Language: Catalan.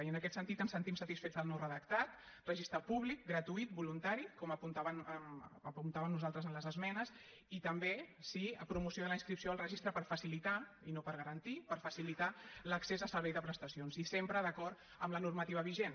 i en aquest sentit ens sentim satisfets del nou redactat registre públic gratuït voluntari com apuntàvem nosaltres en les esmenes i també sí promoció de la inscripció al registre per facilitar i no per garantir per facilitar l’accés al servei de prestacions i sempre d’acord amb la normativa vigent